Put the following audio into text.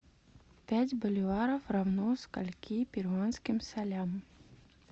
пять боливаров равно скольким перуанским солям